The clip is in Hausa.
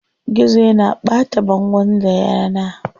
Gizo yana ɓata bangon da yana.